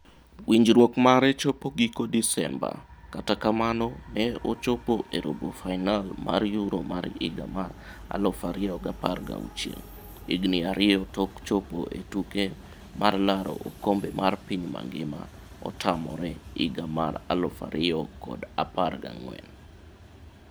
Winjruok mare chopo giko Desemba kata kamano ne ochopo e robo fainol mar Euro 2016, higni ariyo tok chopo e tuke mar laro okombe mar piny ngima otamore higa mar 2014.